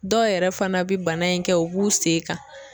Dɔw yɛrɛ fana bɛ bana in kɛ u b'u sen kan.